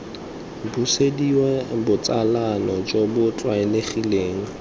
busediwa botsalano jo bo tlwaelegileng